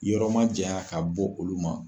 Yɔrɔ majanya ka bɔ olu ma.